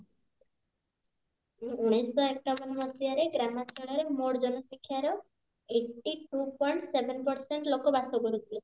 ଉଣେଇସି ଶହ ଏକାବନ ମସିହାରେ ଗ୍ରାମଞ୍ଚଳରେ ମୋଟ ଜନସଂଖ୍ୟାର eighty two point seven percent ଲୋକ ବାସ କରୁଥିଲେ